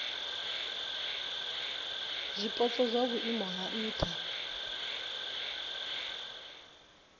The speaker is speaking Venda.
zwipotso zwa vhuimo ha nha